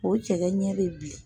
O cɛkɛ ɲɛ be bilen.